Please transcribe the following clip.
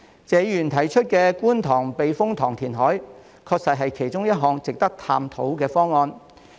謝議員提出觀塘避風塘填海，確實是其中一項值得探討的方案。